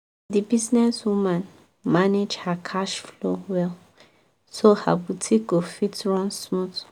the business woman manage her cash flow well so her boutique go fit run smooth.